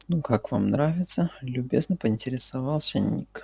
ну как вам нравится любезно поинтересовался ник